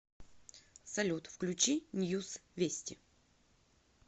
салют включи ньюс вести